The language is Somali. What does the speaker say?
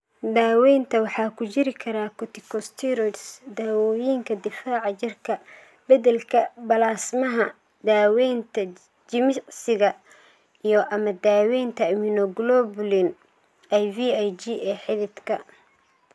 Daaweynta waxaa ku jiri kara corticosteroids, daawooyinka difaaca jirka, beddelka balaasmaha, daaweynta jimicsiga, iyo/ama daawaynta immunoglobulin (IVIG) ee xididka.